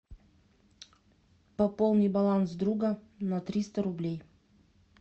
пополни баланс друга на триста рублей